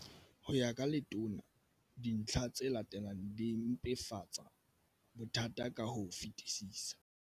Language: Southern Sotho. Ho ya ka Letona, dintlha tse latelang di mpefatsa bothata ka ho fetisisa.